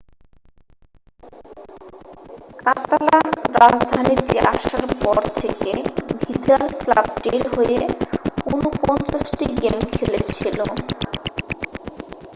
কাতালান-রাজধানীতে আসার পর থেকে ভিদাল ক্লাবটির হয়ে 49 টি গেম খেলেছিল